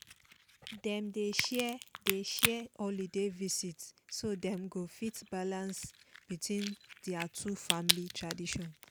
dem dey share dey share holiday visit so dem go fit balance between their two family tradition